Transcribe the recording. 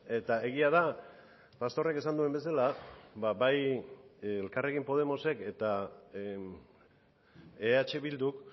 eta egia da pastorrek esan duen bezala bai elkarrekin podemos ek eta eh bilduk